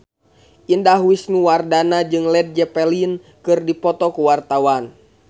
Indah Wisnuwardana jeung Led Zeppelin keur dipoto ku wartawan